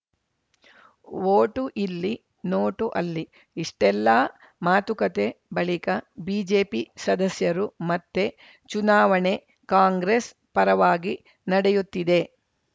vote ಇಲ್ಲಿ note ಅಲ್ಲಿ ಇಷ್ಟೆಲ್ಲಾ ಮಾತುಕತೆ ಬಳಿಕ ಬಿಜೆಪಿ ಸದಸ್ಯರು ಮತ್ತೆ ಚುನಾವಣೆ ಕಾಂಗ್ರೆಸ್‌ ಪರವಾಗಿ ನಡೆಯುತ್ತಿದೆ